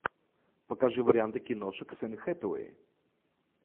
покажи варианты киношек с энн хэтэуэй